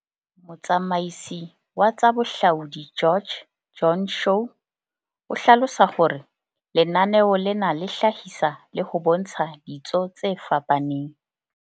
Motsamaisi wa tsa bohlaudi George, Joan Shaw, o hlalosa hore lenaneo lena le hlahisa le ho bontsha ditso tse fapaneng.